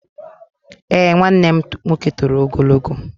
Eé, nwanne m nwoke toro ogologo.